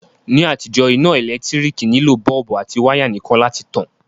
Ní àtijó, iná ẹ́lẹ̀ntirikì nilò bulb àti wire nìkan láti tan